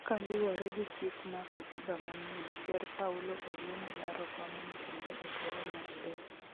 kaluwore gi chik ma katiba manyien ker paulo oyiene laro kom'no kendo e thuolo Mr adek